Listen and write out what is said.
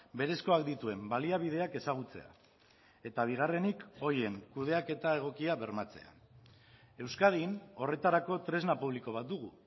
berezkoak dituen baliabideak ezagutzea eta bigarrenik horien kudeaketa egokia bermatzea euskadin horretarako tresna publiko bat dugu